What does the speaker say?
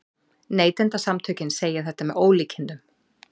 Neytendasamtökin segja þetta með ólíkindum